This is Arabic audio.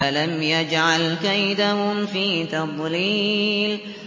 أَلَمْ يَجْعَلْ كَيْدَهُمْ فِي تَضْلِيلٍ